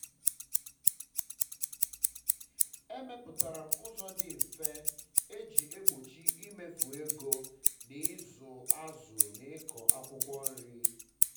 emepụtara m ụzọ dị um mfe e ji egbochi imefu ego um na ịzu azụ na ịkọ akwụkwọ nri um